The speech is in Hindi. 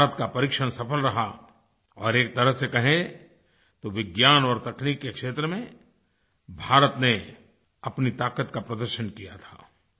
भारत का परीक्षण सफल रहा और एक तरह से कहें तो विज्ञान और तकनीक के क्षेत्र में भारत ने अपनी ताक़त का प्रदर्शन किया था